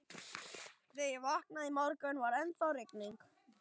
Þegar ég vaknaði í morgun, var ennþá rigning.